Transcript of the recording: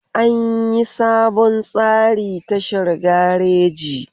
An yi sabon tsari tashar gareji